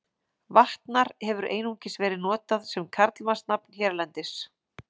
Vatnar hefur einungis verið notað sem karlmannsnafn hérlendis.